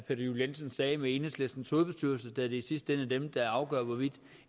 juel jensen sagde med enhedslistens hovedbestyrelse da det i sidste ende er dem der afgør hvorvidt